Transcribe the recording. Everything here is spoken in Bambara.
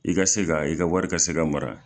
I ka se ka i ka wari ka se ka mara.